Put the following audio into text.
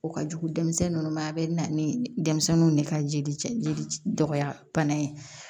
O ka jugu denmisɛnnin ninnu ma a bɛ na ni denmisɛnninw de ka jeli ce jeli dɔgɔya bana ye